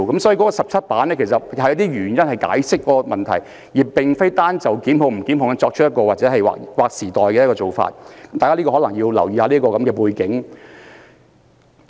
所以，該17頁的聲明是用以解釋此問題，而並非單單回應是否作出檢控的事宜，大家須留意此一背景。